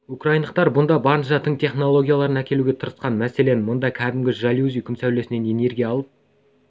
украиндықтар бұнда барынша тың технологияларын әкелуге тырысқан мәселен мына кәдімгі жалюзи күн сәулесінен энергия алып